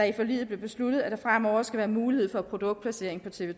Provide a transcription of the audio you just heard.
i forliget blev besluttet at der fremover skal være mulighed for produktplacering på tv